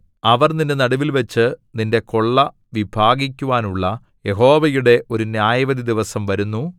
അവർ നിന്റെ നടുവിൽവച്ചു നിന്റെ കൊള്ള വിഭാഗിക്കുവാനുള്ള യഹോവയുടെ ഒരു ന്യായവിധി ദിവസം വരുന്നു